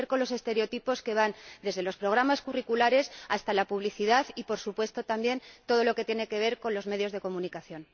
Y romper con los estereotipos que van desde los programas curriculares hasta la publicidad y, por supuesto también, todo lo que tiene que ver con los medios de comunicación.